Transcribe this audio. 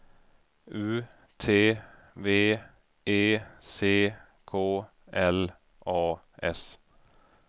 U T V E C K L A S